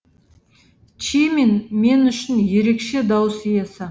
чимин мен үшін ерекше дауыс иесі